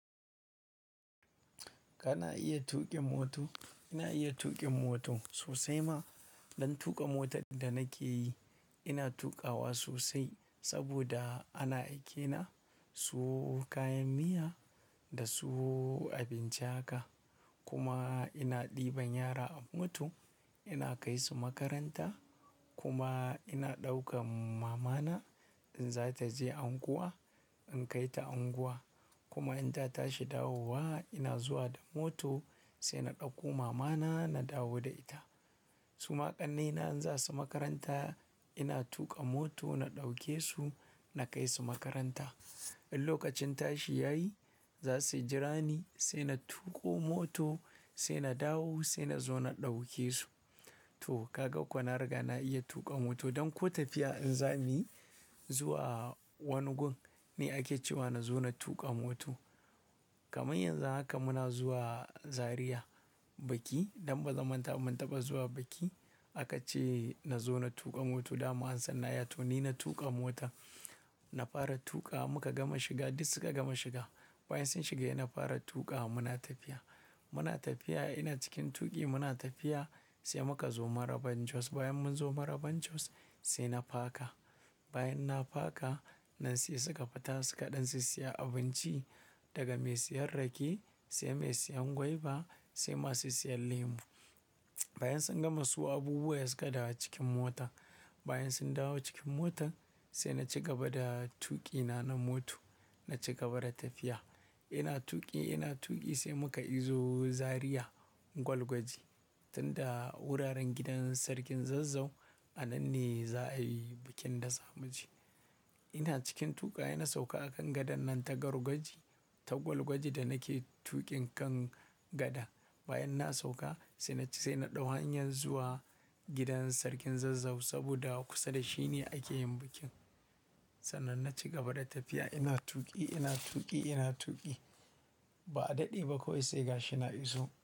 Kana iya tuƙin mota? Ina iya tuƙin mota sosai ma. Don tuƙa motar da nake yi, ina tuƙawa sosai saboda ana aikena suwo kayan miya da suwo abinci haka. Kuma ina ɗiban yara a mota, ina kai su makaranta kuma ina ɗaukar mamana in za ta je unguwa, in kai ta unguwa. Kuma in ta tashi dawowa ina zuwa da mota sai na ɗauko mamana na dawo da ita. Su ma ƙannena in za su makaranta ina tuƙa mota na ɗauke su na kai su makaranta. In lokacin tashi ya yi za su jira ni sai na tuƙo mota sai na dawo sai na zo na ɗauke su. To, ka ga ko na riga na iya tuƙa mota. Don ko tafiya in za muyi zuwa wani gun ne ake cewa na zo na tuƙa mota. Kamar yanzu haka muna zuwa Zariya biki. Don ba za manta ba mun taɓa zuwa biki aka ce na zo na tuƙa mota. Dama an san na iya to ni na tuƙa mota. Na fara tuƙa muka gama shiga duk suka gama shiga. Bayan sun shiga ina fara tuƙawa muna tafiya. Muna tafiya ina cikin tuƙi muna tafiya sai muka zo Maraban Jos. Bayan mun zo Maraban Jos sai na faka. Bayan na faka nan sai suka fita sukaɗan siya abinci daga mai siyan rake sai mai siyan gwaiba sai masu siyan lemu. Bayan sun gama suwo abubuwa suka dawo cikin mota. Bayan sun dawo cikin motar sai na ci gaba da tuƙina na mota. Na ci gaba da tafiya. Ina tuƙi, ina tuƙi sai muka iso Zariya Gwalgwaji tun da wuraren gidan sarkin Zazzau a nan ne za'a yi bikin daza mue. Ina cikin tuƙa sai na sauka a kan gadan nan ta Gwalgwaji, ta Gwalgwaji da nake tuƙin kan gada. Bayan na sauka sai na ci-- sai na ɗau hanyar zuwa gidan sarkin Zazzau saboda kusa da shi ne ake yin bikin. Sannan na ci gaba da tafiya ina tuƙi, ina tuƙi, ina tuƙi ba a daɗe ba kawai sai gashi na iso.